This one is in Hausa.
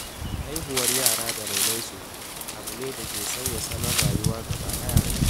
Haihuwar yara da rainon su abu ne da ke sauya salon rayuwa gaba ɗaya.